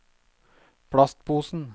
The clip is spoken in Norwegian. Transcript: plastposen